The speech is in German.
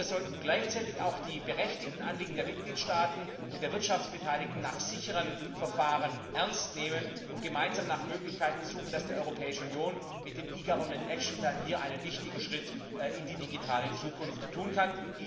Aber wir sollten gleichzeitig auch die berechtigten Anliegen der Mitgliedstaaten und der Wirtschaftsbeteiligten nach sicheren Verfahren ernst nehmen und gemeinsam nach Möglichkeiten suchen, dass die Europäische Union mit dem eGovernment Action Plan hier einen wichtigen Schritt in die digitale Zukunft tun kann.